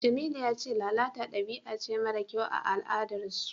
Jamilu ya ce lalata dabi'a ce mara kyau a al'adarsu.